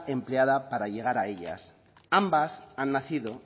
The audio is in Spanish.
empleada para llegar a ellas ambas han nacido